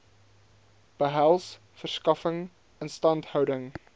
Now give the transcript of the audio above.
behels verskaffing instandhouding